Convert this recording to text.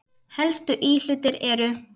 Helstu íhlutir eru